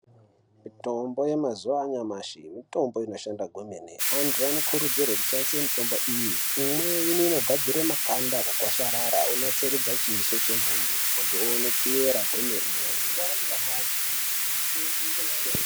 Mitombo yanyamashi mitombo inobashanda zvomene .Antu anokurudzirwe kushandise mitombo iyi. Imweni inogadzire makanda akagwasharara wonasokuratidza chiso chemuntu ,muntu oonekera kwenene.